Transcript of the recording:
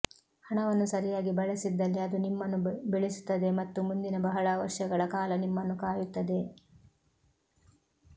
ಹಣವನ್ನು ಸರಿಯಾಗಿ ಬಳಸಿದ್ದಲ್ಲಿ ಅದು ನಿಮ್ಮನ್ನು ಬೆಳೆಸುತ್ತದೆ ಮತ್ತು ಮುಂದಿನ ಬಹಳ ವರ್ಷಗಳ ಕಾಲ ನಿಮ್ಮನ್ನು ಕಾಯುತ್ತದೆ